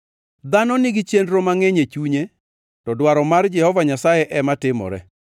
Dhano nigi chenro mangʼeny e chunye, to dwaro mar Jehova Nyasaye ema timore.